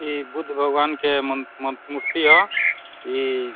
इ बुद्ध भगवान के मन मन मूर्ति ह। इ --